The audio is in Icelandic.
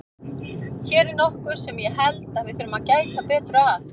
Hér er nokkuð sem ég held að við þurfum að gæta betur að.